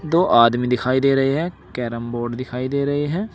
दो आदमी दिखाई दे रहे हैं कैरम बोर्ड दिखाई दे रहे हैं।